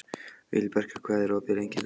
Vibeka, hvað er opið lengi í Brynju?